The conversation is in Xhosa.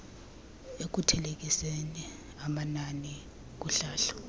ekuthelekiseni amanani kuhlahlo